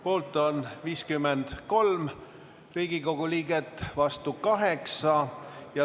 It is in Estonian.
Poolt on 53 Riigikogu liiget, vastu 8.